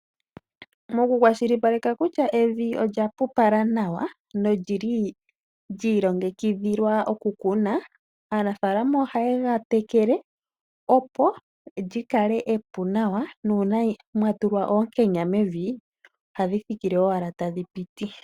Nokukwashilipaleka kutya evi olyapupala nawa nolyili lyi iilongekidhilwa okukuna aanafaalama ohaye gatekele opo lyikale epu nawa nuuna mwatulwa onkenya mevi oha dhithikile owala tadhi piti.